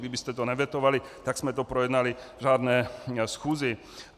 Kdybyste to nevetovali, tak jsme to projednali v řádné schůzi.